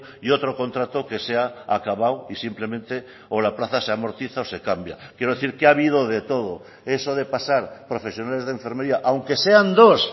y otro contrato que se ha acabado y simplemente o la plaza se amortiza o se cambia quiero decir que ha habido de todo eso de pasar profesionales de enfermería aunque sean dos